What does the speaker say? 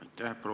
Aitäh!